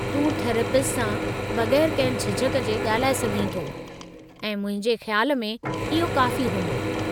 तूं थेरेपिस्ट सां बगै़रु कंहिं झिझक जे ॻाल्हाए सघीं थो, ऐं मुंहिंजे ख्याल में इहो काफ़ी हूंदो।